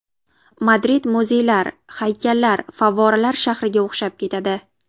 Madrid muzeylar, haykallar, favvoralar shahriga o‘xshab ketadi.